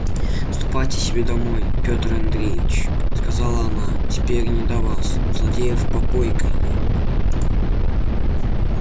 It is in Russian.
ступайте себе домой пётр андреич сказала она теперь не до вас у злодеев попойка идёт